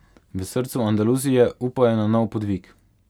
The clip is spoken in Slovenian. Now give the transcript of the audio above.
V srcu Andaluzije upajo na nov podvig.